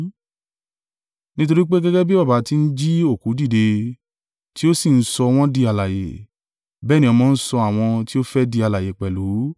Nítorí pé, gẹ́gẹ́ bí Baba ti ń jí òkú dìde, tí ó sì ń sọ wọ́n di alààyè: bẹ́ẹ̀ ni ọmọ ń sọ àwọn tí ó fẹ́ di alààyè pẹ̀lú.